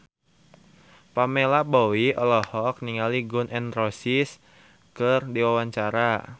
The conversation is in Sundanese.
Pamela Bowie olohok ningali Gun N Roses keur diwawancara